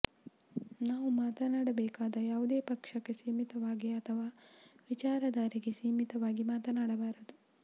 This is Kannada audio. ನಾವು ಮಾತಾಡಬೇಕಾದಾಗ ಯಾವುದೇ ಪಕ್ಷಕ್ಕೆ ಸೀಮಿತವಾಗಿ ಅಥವಾ ವಿಚಾರಧಾರೆಗೆ ಸೀಮಿತವಾಗಿ ಮಾತಾಡಬಾರದು